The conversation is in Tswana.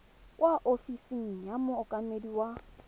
kwa ofising ya mookamedi wa